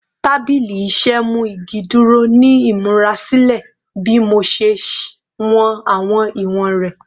Tabili iṣẹ mu igi duro ni imurasilẹ bi Mo ṣe wọn awọn iwọn rẹ